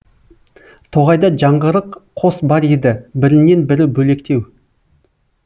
тоғайда жаңғырық қос бар еді бірінен бірі бөлектеу